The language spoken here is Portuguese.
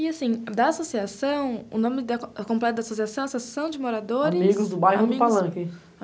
E assim, da associação, o nome completo da associação, Associação de Moradores... Amigos do Bairro do Palanque.